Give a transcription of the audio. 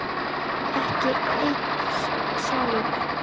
Ekki einn sálm.